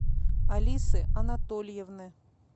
алисы анатольевны